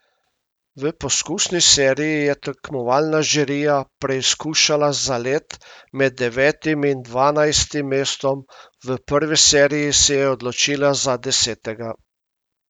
V poskusni seriji je tekmovalna žirija preizkušala zalet med devetim in dvanajstim mestom, v prvi seriji se je odločila za desetega.